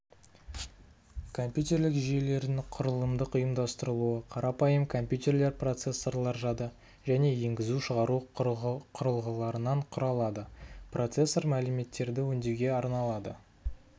компьютерлік жүйелердің құрылымдық ұйымдастырылуы қарапайым компьютерлер процессорлар жады және енгізу-шығару құрылғыларынан құралады процессор мәліметтерді өңдеуге арналады